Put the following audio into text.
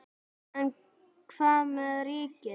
En hvað með ríkið?